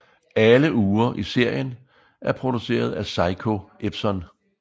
Alle ure i serien er produceret af Seiko Epson